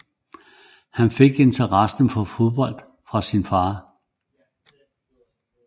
Han fik interessen for fodbold fra sin far